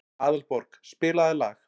Aðalborg, spilaðu lag.